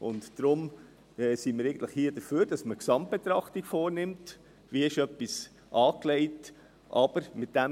Deshalb sind wir dafür, dass eine Gesamtbetrachtung vorgenommen wird, wie etwas angelegt wurde.